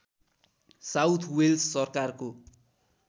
south Wales सरकारको